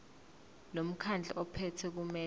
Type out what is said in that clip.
lomkhandlu ophethe kumele